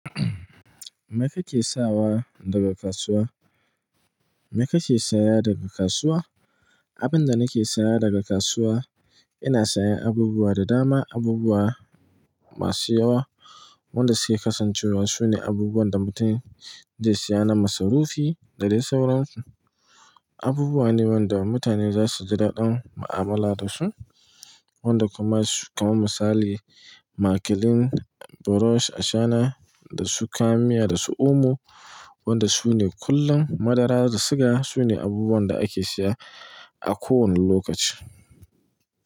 Me kake sawa daga kasuwa? Me kake saya daga kasuwa? Abin da nake saya daga kasuwa, ina sayan abubuwa da dama, abubuwa masu yawa. Wanda suke kasancewa sune abubuwan da mutum zai saya na masarufi da dai sauransu. Abubuwa ne wanda mutane za su ji daɗin mu'amala da su, wanda kuma su kamar misali makilin, burosh a shana da su kayan miya da su omo, wanda sune kullum madara da siga sune abubuwan da ake saya a kowane lokaci.